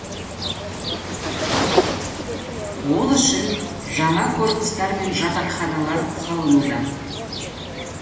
ол үшін жаңа корпустар мен жатақханалар салынуда